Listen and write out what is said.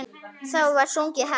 Þá var sungið hátt.